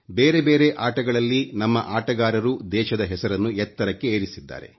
ಬೇರೆ ಬೇರೆ ಆಟಗಳಲ್ಲಿ ನಮ್ಮ ಆಟಗಾರರು ದೇಶದ ಹೆಸರನ್ನು ಎತ್ತರಕ್ಕೆ ಏರಿಸಿದ್ದಾರೆ